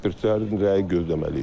ekspertlərin rəyi gözləməliyik.